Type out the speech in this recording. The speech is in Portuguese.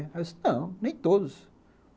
Aí ele disse, não, nem todos.